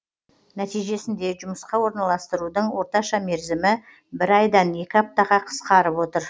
нәтижесінде жұмысқа орналастырудың орташа мерзімі бір айдан екі аптаға қысқарып отыр